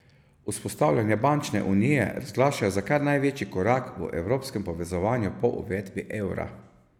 Vzpostavljanje bančne unije razglašajo za kar največji korak v evropskem povezovanju po uvedbi evra.